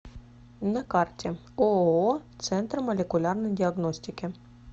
на карте ооо центр молекулярной диагностики